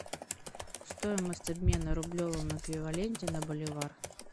стоимость обмена в рублевом эквиваленте на боливар